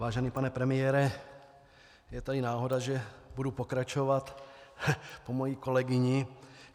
Vážený pane premiére, je tady náhoda, že budu pokračovat po mojí kolegyni.